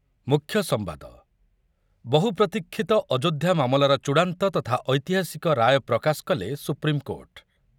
ମୁଖ୍ୟ ସମ୍ବାଦ, ବହୁପ୍ରତିକ୍ଷିତ ଅଯୋଧ୍ୟା ମାମଲାର ଚୂଡାନ୍ତ ତଥା ଐତିହାସିକ ରାୟ ପ୍ରକାଶ କଲେ ସୁପ୍ରିମକୋର୍ଟ ।